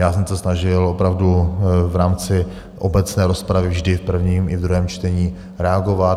Já jsem se snažil opravdu v rámci obecné rozpravy vždy v prvním i v druhém čtení reagovat.